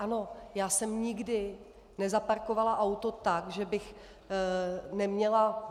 Ano, já jsem nikdy nezaparkovala auto tak, že bych neměla...